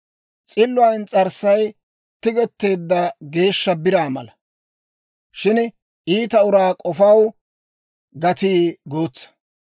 S'illuwaa ins's'arssay tigetteedda geeshsha biraa mala; shin iita uraa k'ofaw gatii guutsa.